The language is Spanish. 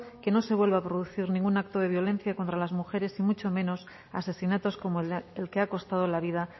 que no se vuelva a producir ningún acto de violencia contra las mujeres y mucho menos asesinatos como el que ha costado la vida